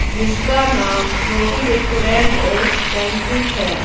जिसका नाम रोटी रेस्टोरेंट एस बैंक्यूट है।